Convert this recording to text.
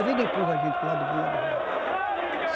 A vida empurra a gente para o lado bom e o lado ruim.